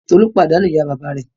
Tolú pàdánù ìyá-bàbá rẹ̀.